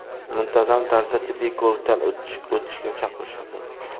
Muntazam tarzda tibbiy ko‘rikdan o‘tishga chaqirishadi”.